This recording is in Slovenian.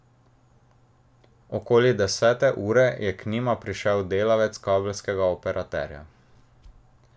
Okoli desete ure je k njima prišel delavec kabelskega operaterja.